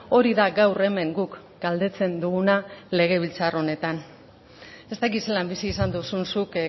hori da gaur hemen guk galdetzen duguna legebiltzar honetan ez dakit zelan bizi izan duzun zuk